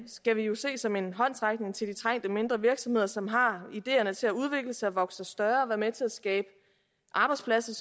skal vi jo se som en håndsrækning til de trængte mindre virksomheder som har ideerne til at udvikle sig vokse sig større og være med til at skabe arbejdspladser